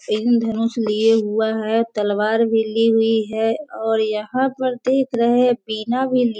इंद्रधनुष लिया हुआ है तलवार भी ली हुई है और यहाँ पर देख रहे हैं पीना भी लि --